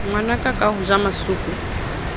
ngwanaka ka ho ja masooko